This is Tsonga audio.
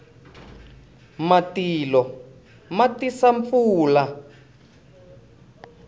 matilo ma tisa pfula